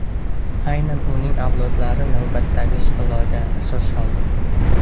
Aynan uning avlodlari navbatdagi sulolaga asos soldi.